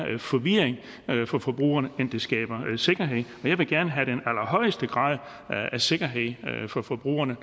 forvirring for forbrugerne end det skaber sikkerhed og jeg vil gerne have den allerhøjeste grad af sikkerhed for forbrugerne